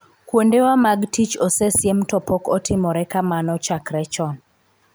kuonde wa mag tich osesiem to pok otimore kamano chakre chon